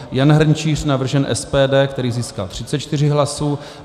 Jan Hrnčíř, navržen SPD, který získal 34 hlasů.